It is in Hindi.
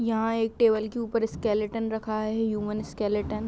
यहाँ एक टेबल के उपर एक स्केलटन रखा है ह्यूमन स्केलटन --